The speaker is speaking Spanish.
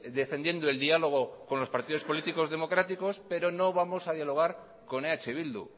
defendiendo el diálogo con los partidos políticos democráticos pero no vamos a dialogar con eh bildu